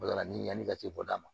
Baga ni yani ka ci bɔ da ma